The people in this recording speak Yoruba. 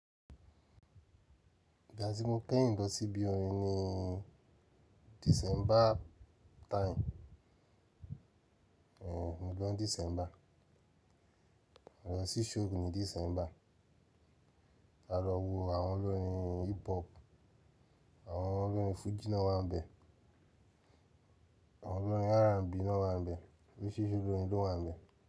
Ìgbà tí mo pè yín lọ sí ibi orin ni December time, hmm, mo lọ ni December. A lọ sí show ni December. A lọ wo àwọn olórin hip hop, àwọn olórin Fuji náà wà ń bẹ̀, àwọn olórin R&B náà wà ń bẹ̀, oríṣiríṣi olórin ló wà ń bẹ̀.